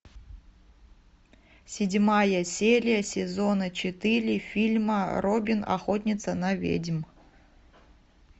седьмая серия сезона четыре фильма робин охотница на ведьм